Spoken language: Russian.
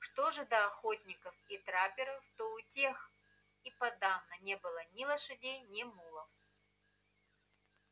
что же до охотников и трапперов то у тех и подавно не было ни лошадей ни мулов